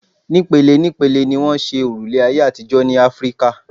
Ní pele ní pele ni wọ́n ṣe òrùlé ayé àtijọ́ ní Áfíkà.